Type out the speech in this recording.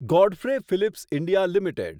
Godfrey Phillips India limited